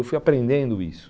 Eu fui aprendendo isso.